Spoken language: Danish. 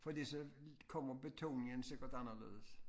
Fordi så kommer betoningen sikkert anderledes